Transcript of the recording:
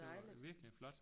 Det var virkelig flot